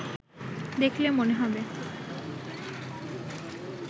দেখলে মনে হবে